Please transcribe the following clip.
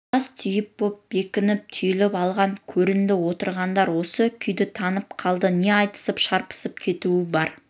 тас түйін боп бекініп түйіліп алған көрінді отырғандар осы күйді танып қалды не айтысып-шарпысып кету бар